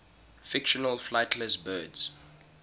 fictional flightless birds